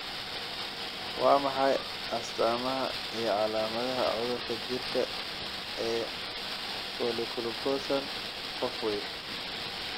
Waa maxay astaamaha iyo calaamadaha cudurka jirka ee Polyglucosan, qof weyn?